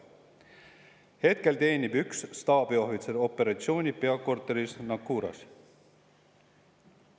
Hetkel teenib üks staabiohvitser operatsiooni peakorteris Naqouras.